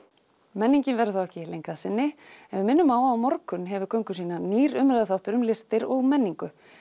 menningin verður þá ekki lengri að sinni en við minnum á að á morgun hefur göngu sína nýr umræðuþáttur um listir og menningu